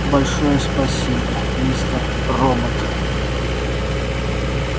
большое спасибо мистер робот